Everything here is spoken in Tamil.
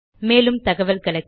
மேலும் தகவல்களுக்கு